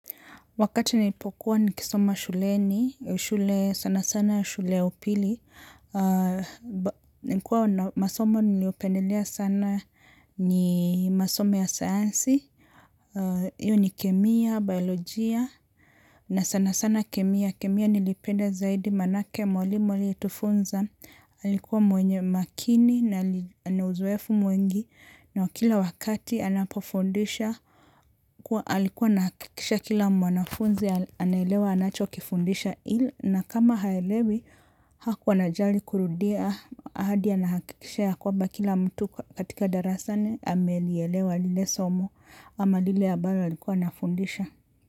Wakati nilipokuwa nikisoma shuleni, shule sana sana shule ya upili. Nikuwa masoma niliopendelea sana ni masoma ya sayansi. Iyo ni kemia, biologia, na sana sana kemia. Kemia nilipenda zaidi maanake mwalimu aliye tufunza. Alikuwa mwenye makini na uzoefu mwingi. Na kila wakati anapofundisha kuwa alikuwa anahakikisha kila mwanafunzi anaelewa anacho kifundisha ili na kama haelewi hakuwa anajali kurudia hadi anahakikisha ya kwamba kila mtu katika darasani amelielewa lile somo ama lile ambalo alikuwa anafundisha.